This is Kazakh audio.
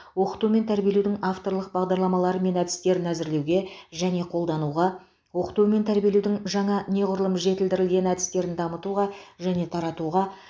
оқыту мен тәрбиелеудің авторлық бағдарламалары мен әдістерін әзірлеуге және қолдануға оқыту мен тәрбиелеудің жаңа неғұрлым жетілдірілген әдістерін дамытуға және таратуға